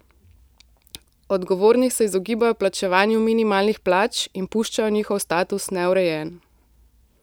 Odgovorni se izogibajo plačevanju minimalnih plač in puščajo njihov status neurejen.